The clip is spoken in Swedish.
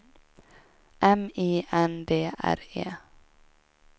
M I N D R E